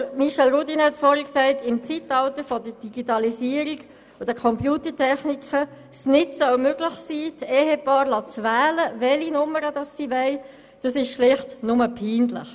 Weshalb es im Zeitalter der Digitalisierung und Computertechnik nicht möglich sein soll, das Ehepaar wählen zu lassen, welche Nummer es will, ist schlicht und einfach peinlich.